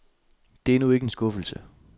Det er nu ikke en skuffelse.